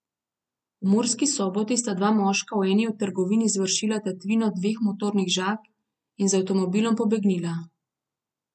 V Murski Soboti sta dva moška v eni od trgovin izvršila tatvino dveh motornih žag in z avtomobilom pobegnila.